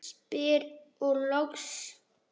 spyr ég loks.